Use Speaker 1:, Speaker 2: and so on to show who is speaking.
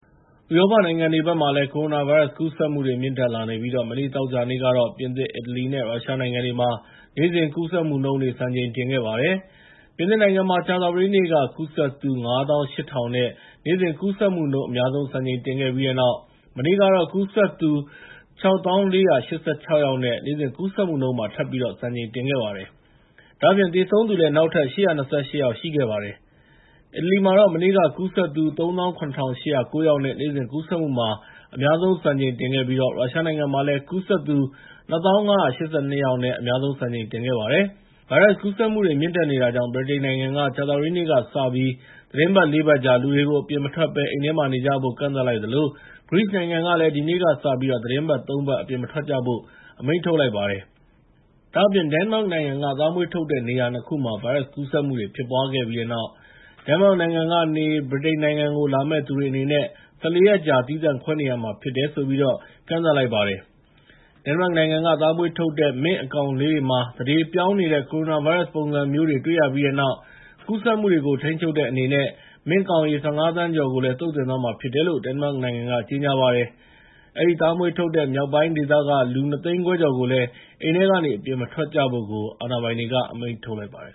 Speaker 1: ဥရောပနိုင်ငံတွေဘက်မှာလည်း ကိုရိုနာဗိုင်းရပ်စ် ကူးစက်မှုတွေ မြင့်တက်လာနေပြီး မနေ့ သောကြာနေ့ကတော့ ပြင်သစ်၊ အီတလီနဲ့ ရုရှားနိုင်ငံမှာတော့ နေ့စဉ်ကူးစက်မှုနှုန်းတွေ စံချိန်တင်ခဲ့ပါတယ်။ ပြင်သစ်နိုင်ငံမှာ ကြာသပတေးနေ့က ကူးစက်သူ ၅၈,၀၀၀ နဲ့ နေ့စဉ်ကူးစက်မှုနှုန်း အများဆုံး စံချိန်တင်ခဲ့ပြီးတဲ့နောက် မနေ့ကတော့ ကူးစက်သူ ၆၀,၄၈၆ ယောက်ရှိတာကြောင့် နေ့စဉ်ကူးစက်မှုနှုန်းမှာ ထပ်ပြီးတော့ စံချိန်တင်ခဲ့ပါတယ်။ ဒါ့အပြင် သေဆုံးသူလည်း နောက်ထပ် ၈၂၈ ယောက် ရှိခဲ့ပါတယ်။ အီတလီမှာတော့ မနေ့က ကူးစက်သူ ၃၇,၈၀၉ ယောက်နဲ့ နေ့စဉ်ကူးစက်မှုမှာ အများဆုံး စံချိန်တင်ခဲ့ပြီး ရုရှားနိုင်ငံမှာလည်း ကူးစက်သူ ၂၀,၅၈၂ ယောက်နဲ့ အများဆုံး စံချိန်တင်ခဲ့ပါတယ်။ ဗိုင်းရပ်စ်ကူးစက်မှုတွေ မြင့်တက်နေတာကြောင့် ဗြိတိန်နိုင်ငံက ကြာသပတေးနေ့ကစပြီး သီတင်းပတ် ၄ ပတ်ကြာ လူတွေကို အပြင်မထွက်ကြဘဲ အိမ်ထဲမှာနေကြဖို့ ကန့်သတ်လိုက်သလို ဂရိနိုင်ငံကလည်း ဒီနေ့ကစပြီး သီတင်းပတ် ၃ ပတ် အပြင်မထွက်ကြဖို့ ကန့်သတ်လိုက်ပါတယ်။ ဒါ့အပြင် ဒိန်းမတ်နိုင်ငံက သားမွေးထုတ်တဲ့နေရာ ၂ ခုမှာ ဗိုင်းရပ်စ်ကူးစက်မှု ဖြစ်ပွားခဲ့ပြီးတဲ့နောက် ဒိန်းမတ်နိုင်ငံကနေ ဗြိတိန်နိုင်ငံကို လာမယ့်သူတွေအနေနဲ့ ၁၄ ရက်ကြာ သီးသန့်ခွဲနေရမှာဖြစ်တယ်လို့ ကန့်သတ်လိုက်ပါတယ်။ ဒိန်းမတ်နိုင်ငံက သားမွေးထုတ်တဲ့ Mink အကောင်လေးတွေမှာ သန္ဓေပြောင်းနေတဲ့ ကိုရိုနာဗိုင်းရပ်စ် ပုံစံမျိုးတွေ တွေ့ရပြီးတဲ့နောက် ကူးစက်မှုတွေကို ထိန်းချုပ်တဲ့အနေနဲ့ Mink ကောင်ရေ ၁၅ သန်းကျော်ကို သုတ်သင်သွားမှာဖြစ်တယ်လို့ ဒိန်းမတ်နိုင်ငံက ကြေညာပါတယ်။ အဲဒီသားမွေးထုတ်တဲ့ မြောက်ပိုင်းဒေသက လူ ၂ သိန်းခွဲကျော်ကိုလည်း အိမ်ထဲကနေ အပြင်မထွက်ကြဖို့ အာဏာပိုင်တွေက အမိန့်ထုတ်လိုက်ပါတယ်